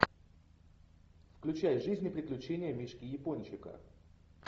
включай жизнь и приключения мишки япончика